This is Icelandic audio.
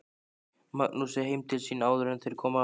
Magnúsi heim til sín áður en þeir komu aftur.